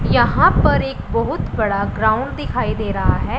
यहां पर एक बहुत बड़ा ग्राउंड दिखाई दे रहा है।